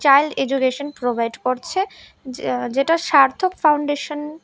child education provide করছে যেটা Sarthak foundation --